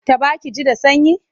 Taɓa ki ji da sanyi?